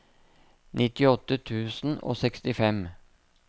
nittiåtte tusen og sekstifem